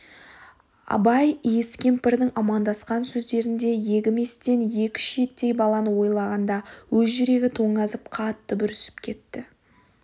абай иіс кемпірдің амандасқан сөздерін де егіместен екі шиеттей баланы ойлағаңда өз жүрегі тоңазып қатты бүрісіп кетті